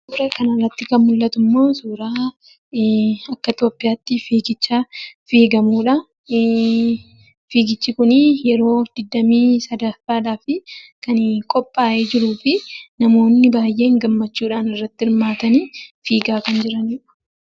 Suuraa kanarratti kan mul'atummoo akka Itoophiyaatti fiigicha fiigamudha. Fiigichi kun yeroo 23ffaadhaaf kan qophaayee jiruu fi namoonni baay'een gammachuun irratti hirmaatanii fiigaa kan jiranidha.